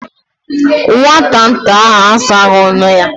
Nwata nta ahụ asaghị ọnụ ya.